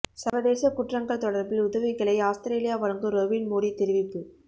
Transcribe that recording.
சர்வதேச குற்றங்கள் தொடர்பில் உதவிகளை அவுஸ்திரேலியா வழங்கும் ரொபின் மூடீ தெரிவிப்பு